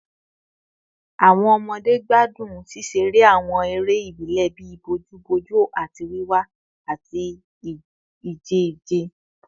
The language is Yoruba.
Awọn ọmọde gbadun ṣiṣere awọn ere ibile bii bojuboju ati wiwa ati ije ije